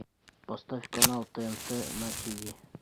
поставь канал тнт на тв